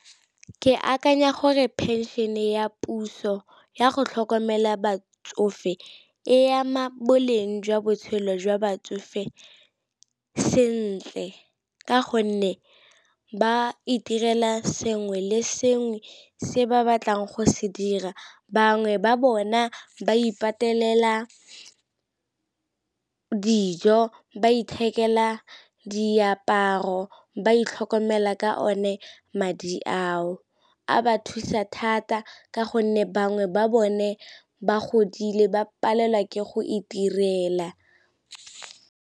Ke akanya gore phenšene ya puso yago tlhokomela batsofe e ama boleng jwa botshelo jwa batsofe sentle, ka gonne ba itirela sengwe le sengwe se ba batlang go se dira. Bangwe ba bona ba ipatelela dijo, ba ithekela diaparo, ba itlhokomela ka o ne madi ao, a ba thusa thata ka gonne bangwe ba bone ba godile ba palelwa ke go itirela.